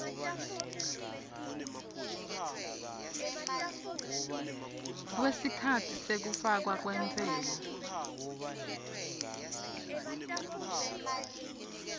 kwesikhatsi sekufakwa kwentsela